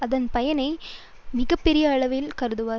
அதை பனை அளவு மிக பெரிய உதவியாய்க் கருதுவர்